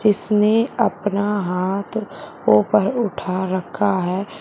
इसने अपना हाथ उपर उठा रखा है।